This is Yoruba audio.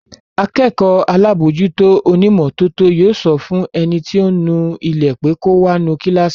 Akẹ́kọ̀ọ́ alábòójútó onímọ́tótó yóò sọ fún ẹni tí ó ń nu ilé pé kò wá nu kíláàsì